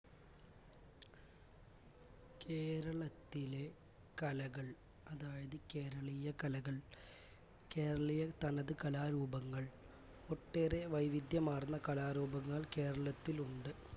കേരളത്തിലെ കലകൾ അതായിത് കേരളീയ കലകൾ കേരളീയതനത് കലാരൂപങ്ങൾ ഒട്ടേറെ വൈവിധ്യമാർന്ന കലാരൂപങ്ങൾ കേരളത്തിലുണ്ട്